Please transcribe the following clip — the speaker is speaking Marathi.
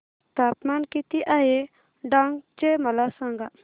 तापमान किती आहे डांग चे मला सांगा